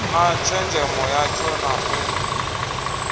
na tshenzhemo yatsho na u